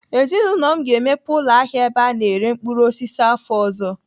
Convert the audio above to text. Ezinaụlọ m ga-emepe ụlọ ahịa ebe a na-ere mkpụrụ osisi afọ ọzọ.